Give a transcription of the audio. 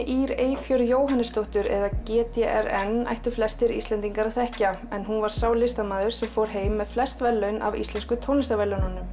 Ýr Eyfjörð Jóhannesdóttur eða g d r n ættu flestir Íslendingar að þekkja en hún var sá listamaður sem fór heim með flest verðlaun af Íslensku tónlistarverðlaununum